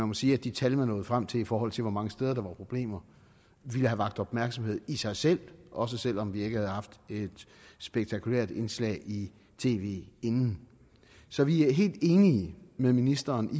må sige at de tal man nåede frem til i forhold til hvor mange steder der var problemer ville have vakt opmærksomhed i sig selv også selv om vi ikke havde haft et spektakulært indslag i tv inden så vi er helt enige med ministeren